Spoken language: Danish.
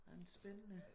Nej men spændende